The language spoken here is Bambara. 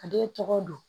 A den tɔgɔ dun